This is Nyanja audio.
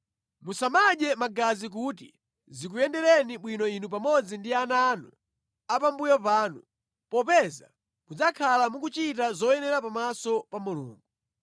Musamadye magazi kuti zikuyendereni bwino inu pamodzi ndi ana anu a pambuyo panu, popeza mudzakhala mukuchita zoyenera pamaso pa Mulungu.